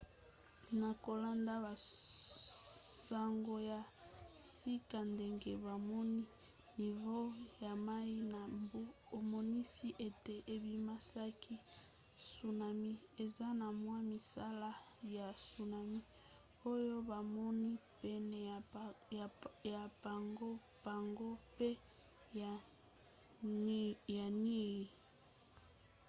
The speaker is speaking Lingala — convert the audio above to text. na kolanda basango ya sika ndenge bamoni nivo ya mai na mbu emonisi ete ebimisaki tsunami. eza na mwa misala ya tsunami oyo bamoni pene ya pago pago mpe ya niue